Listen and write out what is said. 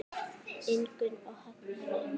Ingunn og Högni.